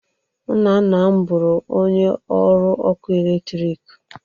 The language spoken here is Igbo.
Nna nna m bụrụ onye ọrụ ọkụ eletrik